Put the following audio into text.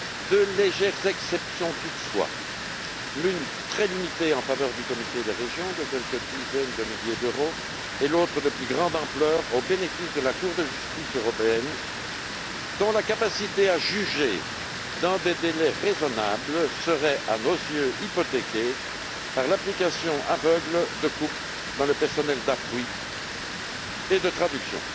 De légères exceptions toutefois l'une très limitée en faveur du Comité des régions de quelques dizaines de milliers d'euros et l'autre, de plus grande ampleur, au bénéfice de la Cour de justice de l'Union européenne, dont la capacité à juger dans des délais raisonnables serait à nos yeux hypothéquée par l'application aveugle de coupes dans le personnel d'appui et de traduction.